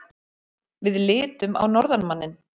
Við litum á norðanmanninn.